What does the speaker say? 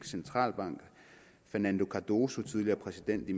centralbank fernando cardoso tidligere præsident i